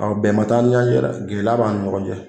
bɛnba t'an ni ɲɔgɔn cɛ dɛ gɛlɛya b'an ni ɲɔgɔn cɛ.